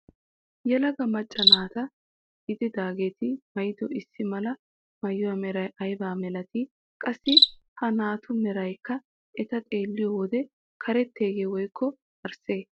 Yelaga macca naata gididaageti maayido issi mala maayuwaa meray aybaa milatii? Qassi ha naatu meraykka eta xeelliyoo wode karetteyee woykko arsee?